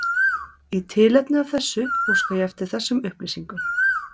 Í tilefni af þessu óska ég eftir þessum upplýsingum